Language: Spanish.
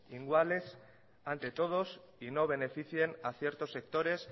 iguales ante todos y no beneficien a ciertos sectores